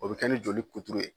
O bi kɛ ni joli kuturu ye